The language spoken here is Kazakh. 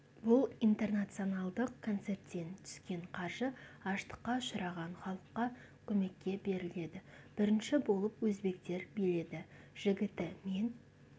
бұл интернационалдық концерттен түскен қаржы аштыққа ұшыраған халыққа көмекке беріледі бірінші болып өзбектер биледі жігіті мен